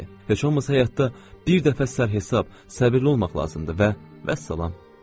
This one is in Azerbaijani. Bəli, heç olmasa həyatda bir dəfə sər hesab, səbirli olmaq lazımdır və vəssalam.